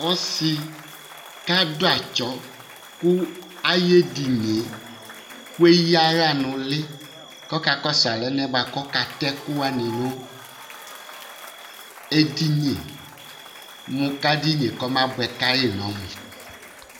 Ɔsi kʋ adʋ atsɔ kʋ yʋ edini ye kʋ eya aɣla nʋ ʋli kʋ ɔkakɔsu alɛnɛ bʋakʋ ɔka tɛ ɛku ni nʋ edini kʋ edini ye kɔma bʋɛ ka yi nʋ ɔmu